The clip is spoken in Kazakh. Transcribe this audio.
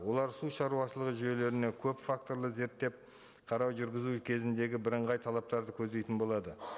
олар су шаруашылығы жүйелеріне көпфакторлы зерттеп қарау жүргізу кезіндегі бірыңғай талаптарды көздейтін болады